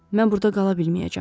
Mən burda qala bilməyəcəm.